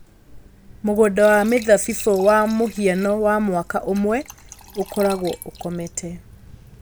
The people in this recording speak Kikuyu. Mũgũnda wa mĩthabibũ wa mũhiano wa mwaka ũmwe ũkoragwo ũkomete.